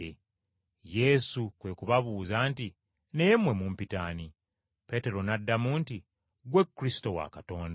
Yesu kwe kubabuuza nti, “Naye mmwe mumpita ani?” Peetero n’addamu nti, “Ggwe Kristo wa Katonda.”